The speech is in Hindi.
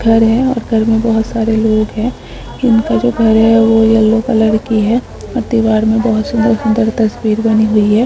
एक घर है और घर में बहुत सारे लोग है उनका घर येलो कलर की है और दीवार पर बहुत सारा तस्वीर बनी हुई है।